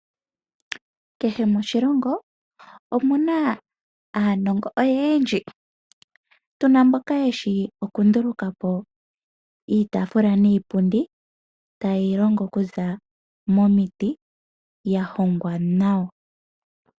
Kehe moshilongo omuna aanongo oyeendji, tuna mboka yeshi okundulukapo iitaafula niipundi tayeyi longo okuza momiti yahongwa nawa.